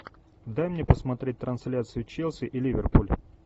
дай мне посмотреть трансляцию челси и ливерпуль